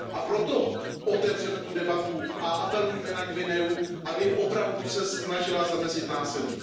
Proto otevřeme tu debatu a apelujme na Guineu, aby opravdu se snažila zamezit násilí.